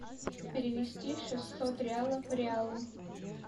перевести шестьсот реалов в реалы